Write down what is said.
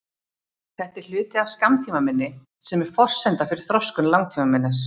Þetta er hluti af skammtímaminni sem er forsenda fyrir þroskun langtímaminnis.